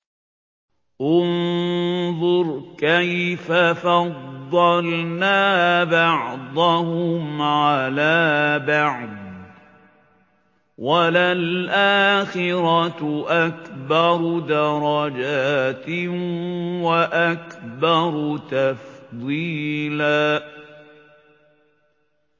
انظُرْ كَيْفَ فَضَّلْنَا بَعْضَهُمْ عَلَىٰ بَعْضٍ ۚ وَلَلْآخِرَةُ أَكْبَرُ دَرَجَاتٍ وَأَكْبَرُ تَفْضِيلًا